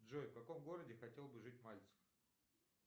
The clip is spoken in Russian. джой в каком городе хотел бы жить мальцев